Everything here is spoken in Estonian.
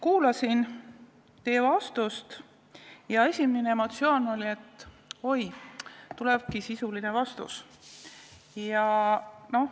Kuulasin teie vastust ja esimene emotsioon oli, et oi, tulebki sisuline vastus.